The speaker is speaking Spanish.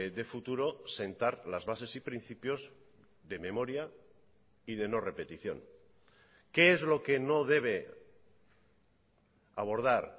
de futuro sentar las bases y principios de memoria y de no repetición qué es lo que no debe abordar